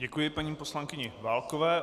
Děkuji paní poslankyni Válkové.